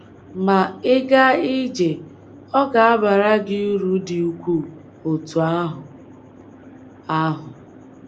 Ma, ịga ije ọ̀ ga - abara gị uru dị ukwuu otú ahụ? ahụ?